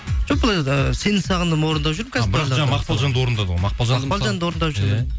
жоқ сені сағындым орындап жүрмін бірақ жаңа мақпалжанды орындадың ғой мақпал анды орындап жүрмін иә